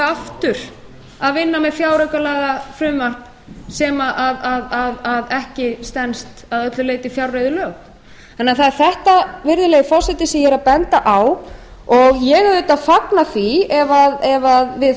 aftur að vinna með fjáraukalagafrumvarp sem ekki stenst að öllu leyti fjárreiðulög það er þetta virðulegi forseti sem ég er að benda á og ég auðvitað fagna því ef við